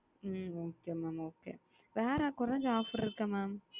okay mam okay வேற எதாவது கோரிஞ்ச offer இருக்க mam